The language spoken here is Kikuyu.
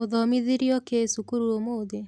ũthomithirio kĩ cukuru ũmũthĩ?